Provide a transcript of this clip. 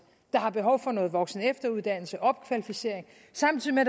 der har behov for noget voksenefteruddannelse noget opkvalificering samtidig med